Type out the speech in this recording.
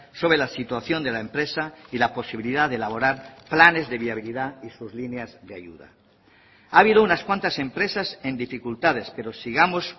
sobre la situación de la empresa y la posibilidad de elaborar planes de viabilidad y sus líneas de ayuda ha habido unas cuantas empresas en dificultades pero sigamos